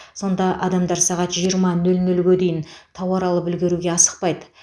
сонда адамдар сағат жиырма нөл нөлге дейін тауар алып үлгеруге асықпайды